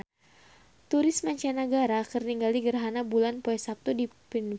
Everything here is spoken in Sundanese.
Turis mancanagara keur ningali gerhana bulan poe Saptu di Phnom Penh